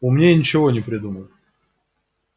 умнее ничего не придумал